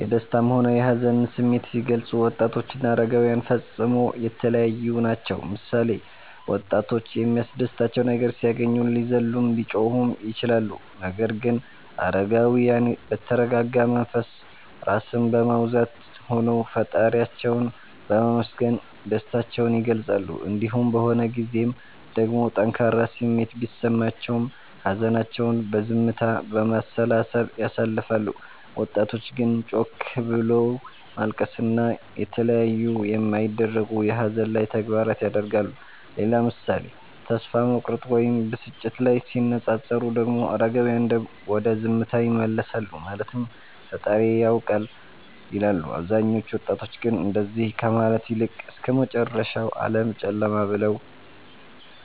የደሰታም ሆነ የሀዘንን ስሜት ሲገልፁ ወጣቶችና አረጋዉያን ፈፅሞ የተለያዪ ናቸዉ ምሳሌ፦ ወጣቶች የሚያስደስታቸው ነገር ሲያገኙ ሊዘሉም ሊጮሁም ይችላሉ ነገር ግን አረጋዉያን በተረጋጋ መንፈስ (ራስን በማዉዛት) ሆነዉ ፈጣሪያቸዉን በማመስገን ደስታቸዉን ይገልፃሉ። እንዲሁም በሆን ጊዜም ደግሞ ጠንካራ ስሜት ቢሰማቸውም ሀዘናቸዉን በዝምታ፣ በማሰላሰል ያሳልፋሉ ወጣቶች ግን ጮክ ብሎት ማልቀስን እና የተለያዩ የማይደረጉ የሀዘን ላይ ተግባራት ያደርጋሉ። ሌላ ምሳሌ ተስፋ መቁረጥ ወይም ብስጭት ላይ ሲነፃፀሩ ደግሞ አረጋዉያን ወደ ዝምታ ይመለሳሉ ማለትም ፈጣሪዬ ያዉቃል ይላሉ አብዛኞቹ ወጣቶች ግን እንደዚ ከማለት ይልቅ እስከመጨረሻዉ ዓለም ጨለማ ብለዉ